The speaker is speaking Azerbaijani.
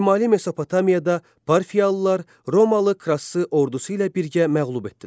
Şimali Mesopotamiyada parfiyalılar Romalı Krassı ordusu ilə birgə məğlub etdilər.